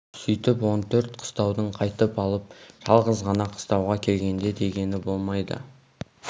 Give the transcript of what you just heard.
сүйтіп он төрт қыстауды қайтып алып жалғыз ғана қыстауға келгенде дегені болмайды